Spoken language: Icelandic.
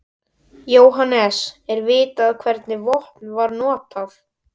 Jóhannes: Er vitað hvernig vopn var notað?